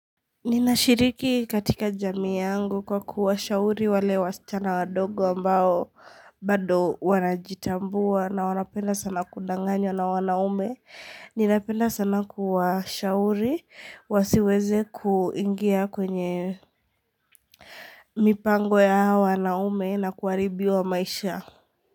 Ninashiriki katika jamii yangu kwa kuwashauri wale wasichana wadogo ambao bado wanajitambua na wanapenda sana kudanganywa na wanaume. Ninapenda sana kuwashauri wasiweze kuingia kwenye mipango ya hao wanaume na kuharibiwa maisha.